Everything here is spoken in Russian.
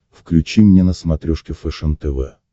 включи мне на смотрешке фэшен тв